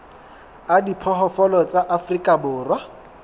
a diphoofolo tsa afrika borwa